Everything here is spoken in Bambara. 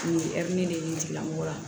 Nin hɛri de ye tigilamɔgɔ ye